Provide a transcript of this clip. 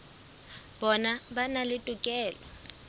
bona ba na le tokelo